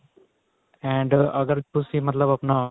and ਅਗਰ ਤੁਸੀਂ ਮਤਲਬ ਆਪਣਾ